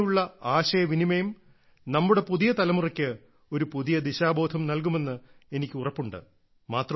ഇങ്ങനെയുള്ള ആശയ വിനിമയം നമ്മുടെ പുതിയ തലമുറയ്ക്ക് ഒരു പുതിയ ദിശാബോധം നൽകുമെന്ന് എനിക്ക് ഉറപ്പുണ്ട്